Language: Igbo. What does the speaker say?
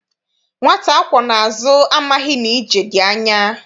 Nwata akwọ n'azụ amaghị na ije dị anya.